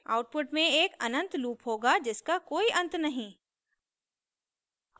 output में एक अनंत लूप होगा जिसका कोई अंत नहीं